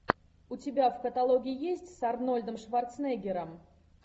у тебя в каталоге есть с арнольдом шварценеггером